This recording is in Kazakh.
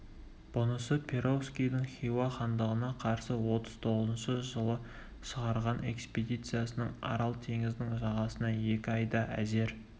бұнысы перовскийдің хиуа хандығына қарсы отыз тоғызыншы жылы шығарған экспедициясының арал теңізінің жағасына екі айда әзер